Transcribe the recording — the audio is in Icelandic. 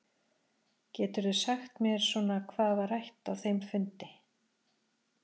Geturðu aðeins sagt mér svona hvað var rætt á þeim fundi?